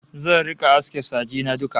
Zan rika aske saje na duka